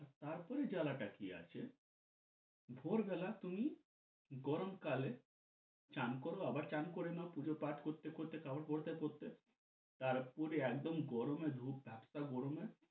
তারপরে জ্বালাটা কি আছে ভোর বেলা তুমি গরম কালে স্নান কর আবার স্নান করে নাও পূজো পাঠ করতে করতে কাপড় পরতে পরতে তারপরে একদম গরমে ধূপধাপটা গরমে